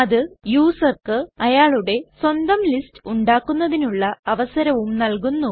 അത് യൂസർക്ക് അയാളുടെ സ്വന്തം ലിസ്റ്റ്സ് ഉണ്ടാക്കുന്നതിനുള്ള അവസരവും നല്കുന്നു